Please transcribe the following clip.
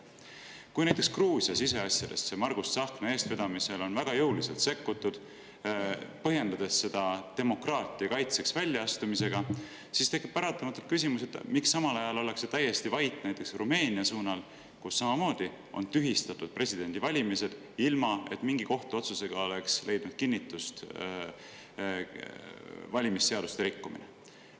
Kui näiteks Gruusia siseasjadesse on Margus Tsahkna eestvedamisel väga jõuliselt sekkutud, põhjendades seda demokraatia kaitseks väljaastumisega, siis tekib paratamatult küsimus, miks samal ajal ollakse täiesti vait näiteks Rumeenia suunal, kus tühistati presidendivalimised, ilma et mingi kohtuotsusega oleks leidnud kinnitust valimisseaduste rikkumine.